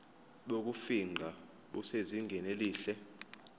bokufingqa busezingeni elihle